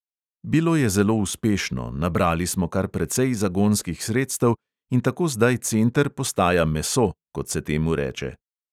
Bilo je zelo uspešno, nabrali smo kar precej zagonskih sredstev in tako zdaj center postaja meso, kot se temu reče.